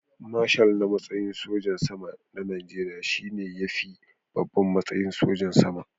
Marshal na matsayin sojan sama na Najeriya shi ne ya fi babban matsayi sojan sama.